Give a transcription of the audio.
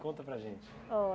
Conta para a gente. Oh